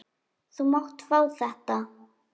Þú mátt fá þetta.